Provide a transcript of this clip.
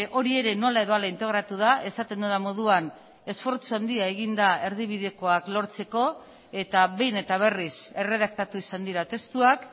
hori ere nola edo hala integratu da esaten dudan moduan esfortzu handia egin da erdibidekoak lortzeko eta behin eta berriz erredaktatu izan dira testuak